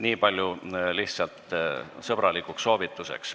Niipalju lihtsalt sõbralikuks soovituseks.